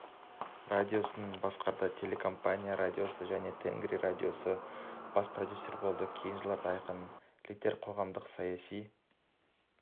радиосын басқарды телерадиокомпаниясында және тенгри радиосында бас продюсер болды кейінгі жылдары айқын және литер қоғамдық-саяси